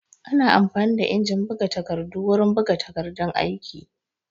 Ana amfani da injin buga takardu wurin buga takardun aiki